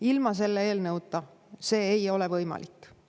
Ilma selle eelnõuta see ei ole võimalik.